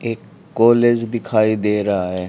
एक कॉलेज दिखाई दे रहा है।